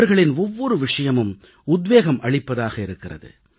அவர்களின் ஒவ்வொரு விஷயமும் உத்வேகம் அளிப்பதாக இருக்கிறது